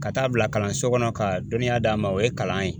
Ka taa bila kalanso kɔnɔ ka dɔnniya d'a ma, o ye kalan ye.